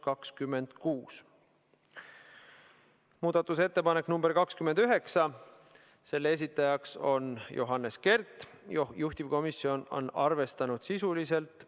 Muudatusettepanek nr 29, selle esitaja on Johannes Kert, juhtivkomisjon on arvestanud seda sisuliselt .